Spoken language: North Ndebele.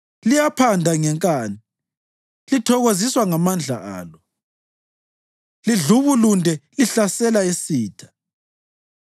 Liyaphanda ngenkani, lithokoziswa ngamandla alo, lidlubulunde lihlasela isitha.